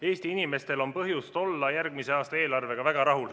Eesti inimestel on põhjust olla järgmise aasta eelarvega väga rahul.